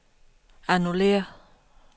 annullér